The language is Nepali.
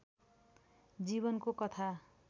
जीवनको कथा